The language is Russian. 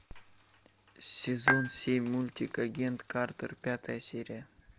сезон семь мультик агент картер пятая серия